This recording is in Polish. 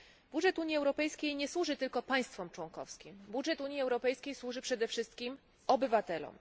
Budżet Unii Europejskiej nie służy tylko państwom członkowskim, budżet Unii Europejskiej służy przede wszystkim obywatelom.